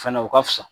Fɛnɛ u ka fisa